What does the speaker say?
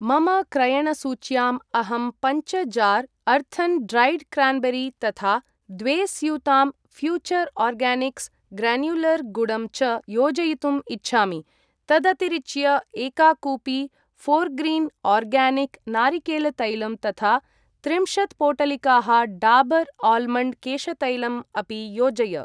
मम क्रयणसूच्याम् अहं पञ्च जार् अर्थन् ड्रैड् क्रान्बेरी तथा द्वे स्यूतां फ्यूचर् आर्गानिक्स् ग्रन्युलर् गुडं च योजयितुम् इच्छामि। तदतिरिच्य एका कूपी फोर्ग्रीन् आर्गानिक् नारिकेलतैलम् तथा त्रिंशत् पोटलिकाः डाबर् आल्मण्ड् केशतैलम् अपि योजय।